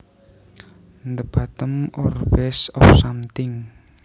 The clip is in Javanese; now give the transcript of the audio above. The bottom or base of something